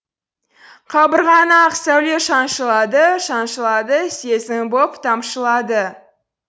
қабырғаңа ақ сәуле шаншылады шаншылады сезім боп тамшылады